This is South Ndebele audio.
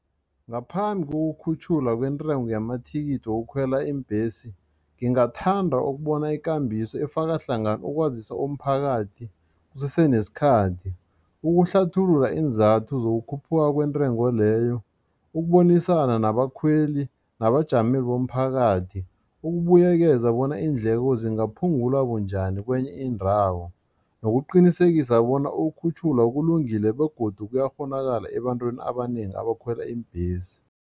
Ngaphambi kokukhutjhulwa kwentengo yamathikithi wokukhwela iimbhesi ngingathanda ukubona ikambiso efaka hlangana ukwazisa umphakathi kusese nesikhathi ukuhlathulula iinzathu zukukhuphuka kwentengo leyo ukubonisana nabakhweli nabajamele bomphakathi ukubuyekezwa bona iindleko zingaphungulwa bunjani kwenye indawo nokuqinisekisa bona ukukhutjhulwa kulungile begodu kuyakghonakala ebantwini abanengi abakhwela iimbhesi.